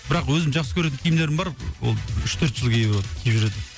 бірақ өзім жақсы көретін киімдерім бар ол үш төрт жыл киюге болатын киіп жүретін